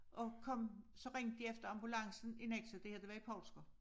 Og kom så ringede de efter ambulancen i Nexø det her det var i Poulsker